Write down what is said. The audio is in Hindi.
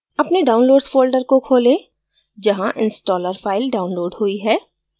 अपने downloads folder को खोलें जहाँ installer file downloaded हुई है